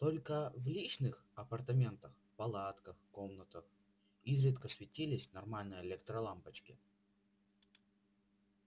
только в личных апартаментах палатках комнатах изредка светились нормальные электролампочки